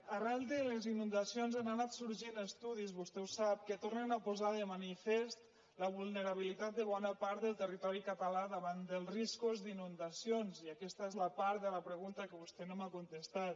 arran de les inundacions han anat sorgint estudis vostè ho sap que tornen a posar de manifest la vulnerabilitat de bona part del territori català davant dels riscos d’inundacions i aquesta és la part de la pregunta que vostè no m’ha contestat